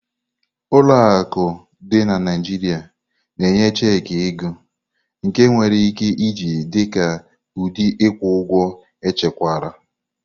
Ụlọ akụ dị na Naijiria na-enye checki ego, nke enwere ike iji dị ka ụdị ịkwụ ụgwọ echekwara.